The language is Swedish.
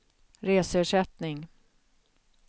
reseersättning